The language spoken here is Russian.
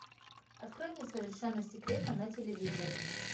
открой мне совершенно секретно на телевизоре